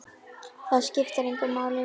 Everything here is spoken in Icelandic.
Það skiptir engu máli lengur.